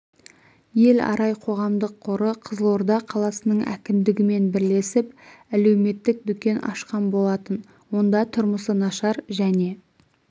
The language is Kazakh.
ел арай қоғамдық қоры қызылорда қаласының әкімдігімен бірлесіп әлеуметтік дүкен ашқан болатын онда тұрмысы нашар және